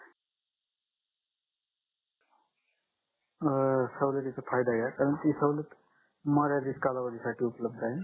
अं सवलतीचा फायदा घ्या कारण ती सवलत मर्यादित कालावधी साठी उपलब्ध आहे